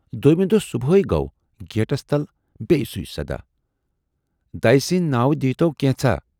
دویمہِ دۅہ صُبحے گوٚو گیٹس تَل بییہِ سُے صَدا"دَیہِ سٕندۍ ناوٕ دیٖی تَو کینژھا"۔